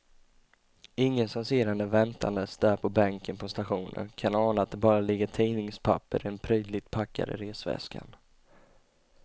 Ingen som ser henne väntandes där på bänken på stationen kan ana att det bara ligger tidningspapper i den prydligt packade resväskan.